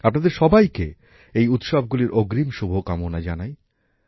আপনাদের সবাইকে এই উৎসবগুলির অগ্রিম শুভকামনা জানাই